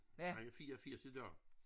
Han er 84 i dag